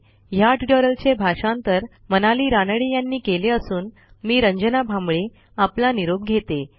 ह्या ट्युटोरियलचे भाषांतर मनाली रानडे यांनी केले असून मी रंजना भांबळे आपला निरोप घेते